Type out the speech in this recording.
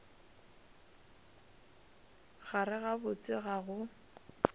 gare ga botse ga go